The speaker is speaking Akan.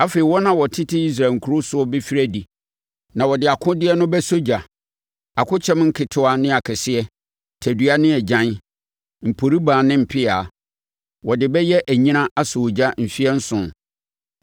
“ ‘Afei wɔn a wɔtete Israel nkuro soɔ bɛfiri adi na wɔde akodeɛ no bɛsɔ ogya, akokyɛm nketewa ne akɛseɛ, tadua ne agyan, mporibaa ne mpea. Wɔde bɛyɛ anyina asɔ ogya mfeɛ nson.